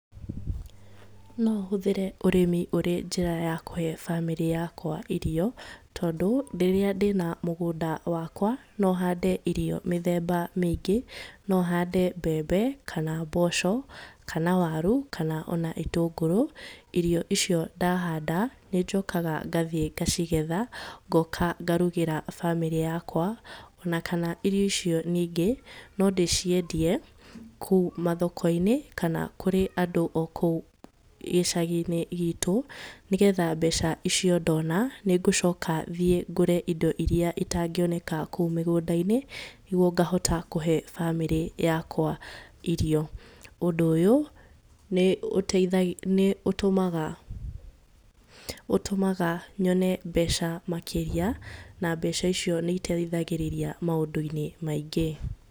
No hũthĩre ũrĩmi ũrĩ njĩra ya kũhe bamĩrĩ yakwa irio tondũ rĩrĩa ndĩna mugũnda wakwa no hande irio mĩthemba mĩingĩ no hande mbembe kana mboco kana warũ kana ona itũngũrũ. Irio icio ndahanda nĩ njokaga ngathiĩ ngacigetha ngoka ngarũgĩra bamĩrĩ yakwa ona kana irio icio ningĩ no ndĩciendie kũũ mathoko-inĩ kana kũrĩ andũ o kuu gĩcagi-inĩ gĩtũ nĩgetha mbeca icio ndona nĩ ngũcoka thiĩ ngũre indo iria itangĩoneka kuu mĩgũnda-inĩ nĩgũo ngahota kũhe bamĩrĩ yakwa irio. Ũndũ ũyũ nĩ ũtũmaga nyone mbeca makĩria na mbeca icio nĩ iteithagĩrirĩa maũndũ maingĩ